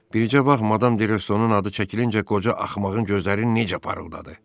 Bircə bax Madam Derestonun adı çəkilincə qoca axmağın gözləri necə parıldadı.